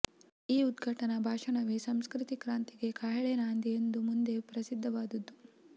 ಈ ಉದ್ಘಾಟನಾ ಭಾಷಣವೇ ಸಂಸ್ಕೃತಿ ಕ್ರಾಂತಿಗೆ ಕಹಳೆ ನಾಂದಿ ಎಂದು ಮುಂದೆ ಪ್ರಸಿದ್ಧವಾದದ್ದು